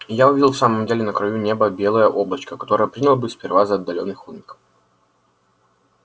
я увидел в самом деле на краю неба белое облачко которое принял было сперва за отдалённый холмик